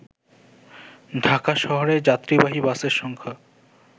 ঢাকা শহরে যাত্রীবাহী বাসের সংখ্যা